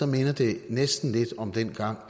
minder det næsten lidt om dengang